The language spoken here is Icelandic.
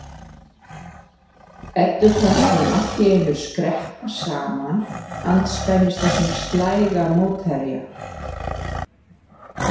Eddu fannst hún allt í einu skreppa saman andspænis þessum slæga mótherja.